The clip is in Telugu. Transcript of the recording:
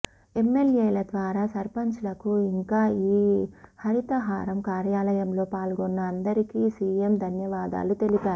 ఎమ్మెల్యేల ద్వారా సర్పంచ్లకు ఇంకా ఈ హరితహారం కార్యక్రమంలో పాల్గొన్న అందరికి సిఎం ధన్యవాదాలు తెలిపారు